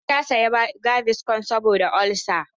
Hauwa ta saya gaviscon saboda ulsa.